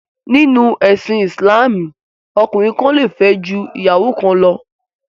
Nínú ẹ̀sìn Ìsìlámù, ọkùnrin kan le fẹ́ ju ìyàwó kan lọ.